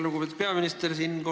Lugupeetud peaminister!